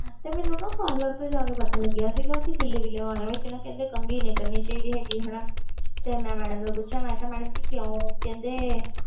ਤੇ ਮੈਨੂੰ ਨਾ parlour ਤੋਂ ਜਾ ਕੇ ਪਤਾ ਲੱਗਿਆ ਸੀਗਾ ਕਿ ਗਿੱਲੇ ਗਿੱਲੇ ਵਾਲਾ ਵਿੱਚ ਨਾ ਕਹਿੰਦੇ ਕੰਘੀ ਨੀ ਕਰਨੀ ਚਾਹੀਦੀ ਹੈਗੀ ਹਨਾ ਤੇ ਮੈਂ madam ਨੂੰ ਪੁੱਛਿਆ ਮੈਂ ਕਿਹਾ madam ਜੀ ਕਿਉਂ ਕਹਿੰਦੇ